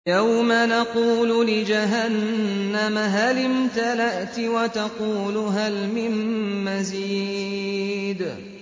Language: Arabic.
يَوْمَ نَقُولُ لِجَهَنَّمَ هَلِ امْتَلَأْتِ وَتَقُولُ هَلْ مِن مَّزِيدٍ